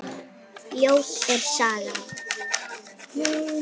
Ljót er sagan.